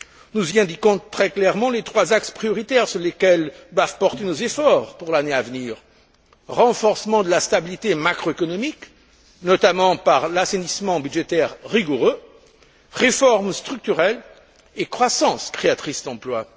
Nous y indiquons très clairement les trois axes prioritaires sur lesquels nous devons porter nos efforts pour l'année à venir renforcement de la stabilité macro économique notamment par l'assainissement budgétaire rigoureux réforme structurelle et croissance créatrice d'emplois.